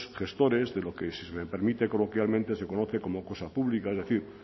gestores de lo que si se me permite coloquialmente se conoce como cosa pública es decir